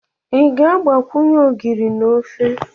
Ị ga-agbakwunye ogiri na ofe?